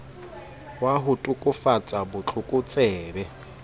wa ho tokafatsa bo tlokotsebe